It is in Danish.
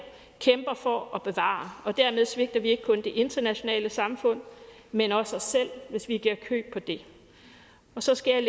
kæmper for at bevare og dermed svigter vi ikke kun det internationale samfund men også os selv hvis vi giver køb på det så skal jeg